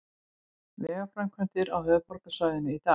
Vegaframkvæmdir á höfuðborgarsvæðinu í dag